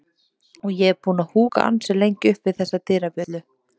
og ég er búinn að húka ansi lengi upp við þessa dyrabjöllu.